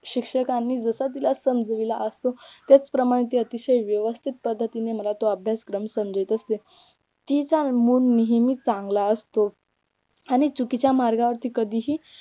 शिक्षकांनी जसं तिला समजाविले असू त्याच प्रमाणे ती अतिशय व्यवस्थित पद्धतीने मला तो अभ्यासक्रम समजावीत असते तीचा मूड नेहमीच चांगला असतो आणि चुकीच्या मार्गावर कधीही